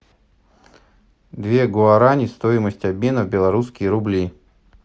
две гуарани стоимость обмена в белорусские рубли